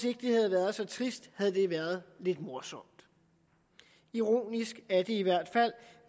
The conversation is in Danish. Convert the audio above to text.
ikke havde været så trist havde det været lidt morsomt ironisk er det i hvert fald